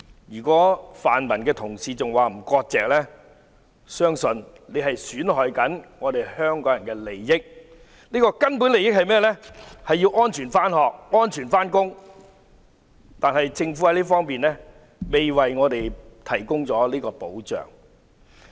如果泛民的同事仍然不割席，我相信他們正在損害香港人的利益，而這個根本的利益是市民能安全上學、上班，但政府卻未能為我們提供這方面的保障。